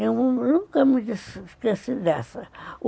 Eu nunca me esqueci dessa.